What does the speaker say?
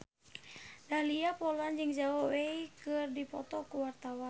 Dahlia Poland jeung Zhao Wei keur dipoto ku wartawan